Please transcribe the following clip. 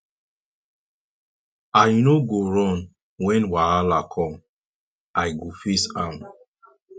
i no go run wen wahala com i go face am